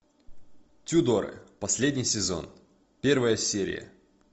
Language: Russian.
тюдоры последний сезон первая серия